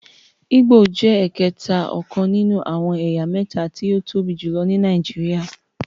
Igbo jé ẹkẹta ọkàn nínú àwọn ẹyà méta tí o tóbi jùlọ ní Nàìjíríà